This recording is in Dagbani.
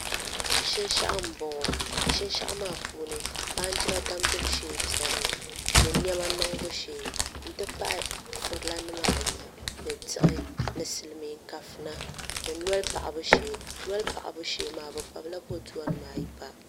Shinshaɣu n bɔŋɔ shinshaɣu maa puuni baanjira damgibu shee biɛni mi ni niɛma niŋbu shee n ti pahi furila nim ayi ni diɣi ni silmiin kafuna ni noli paɣabu shee noli paɣabu shee maa bi kpabila boduwa nim ayi pa